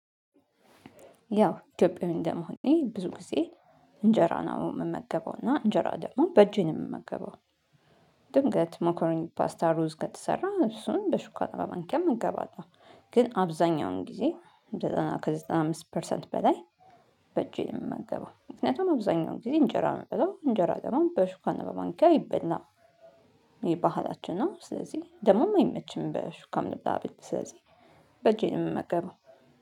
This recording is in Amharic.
ያው ኢትዮጵያዊ እንደመሆኔ ብዙ ጊዜ እንጀራ ነው የምመገበው እና እንጀራ ደግሞ በእጄ ነው የምመገበው። ድንገት ሞኮረኒ ፓስታ ሩዝ ከተሰራ እሱን በሹካ ማንኪያ እመገባለሁ። ግን አብዛኛውን ጊዜ ከዘጠና ከዘጠና አምስት ፐርሰንት በላይ በእጄ ነው እምመገበው። ምክንያቱም አብዛኛውን ጊዜ እንጀራ ነው የምበለው እንጀራ ደግሞ በሹካና በማንኪያ ይበላ። ይህ ባህላችን ነው ስለዚህ ደሞም አይመችም በሹካም ልብላ ብል ስለዚህ በጄ ነው የምመገበው